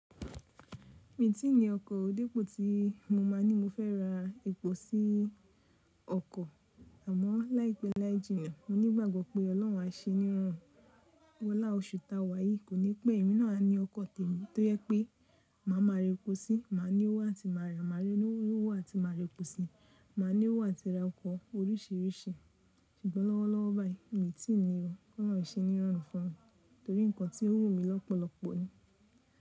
Mì tìní ọkọ̀, ò dípò tí mo máa ní mọ fẹ́ ra epo sí ọkọ̀, àmọ̀ láìpé láìjìnà, mo ní gbàgbọ́ pé Ọlọ́run á ṣe níroru. Wọlá oṣù ta wà yìí, kò ní pé èmi náà á ni ọkọ̀ tèmí, tó jẹ pé màá máa re epo sí, màá ní owó àti màá rà, màá rí owó àti máa re epo sí, màá ní owó àti ra ọkọ̀ oríṣiríṣi. Ṣùgbọ́n lọ́wọ́lọ́wọ́́ báyìí, mì tì ní o. Ọlọ́run ṣe níroru fún mi, torí nǹkan tí ó wù mi lọ́pọ̀lọpọ̀ ni.